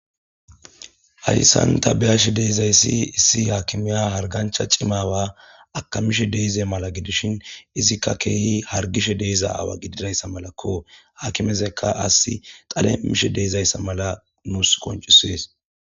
Hayssanta beyash deizayssi issi haakimiya hargancha cimawa akamishe deize mala gidishin izikka keehi hargishe deeza awa gididayssa malakko hakimezekka assi xalemishe deezayssa mala nuus qoncisees